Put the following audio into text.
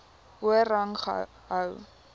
hoër rang gehou